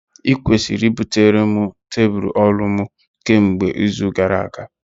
Ị kwesịrị butere m tebụl ọrụ m kemgbe izu gara aga!